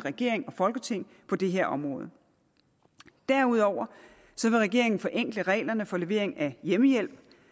regering og folketing på det her område derudover vil regeringen forenkle reglerne for levering af hjemmehjælp